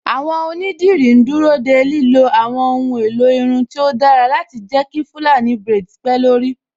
Àwọn Onídìrí ń dúró de lílo àwọn ohun èlò irun tó dára láti jẹ́ kí irun Fulani braids pé lórí